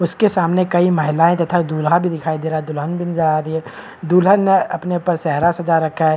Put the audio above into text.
उसके सामने कई महिलायें तथा दूल्हा भी दिखाई दे रहा है दुल्हन भी नजर आ रही है दूल्हा ने अपने ऊपर सेहरा सजा रखा है।